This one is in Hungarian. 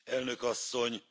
Elnök asszony!